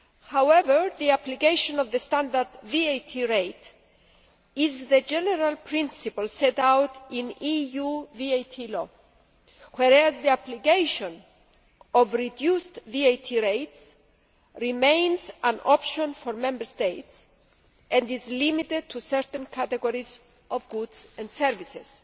However, the application of the standard VAT rate is the general principle set out in EU VAT law, whereas the application of reduced VAT rates remains an option for Member States and is limited to certain categories of goods and services.